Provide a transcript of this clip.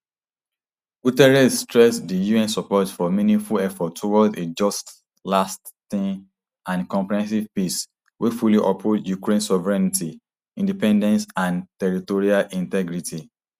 guterres stress di un support for meaningful efforts towards a just lasting and comprehensive peace wey fully uphold ukraine sovereignty independence and territorial integrity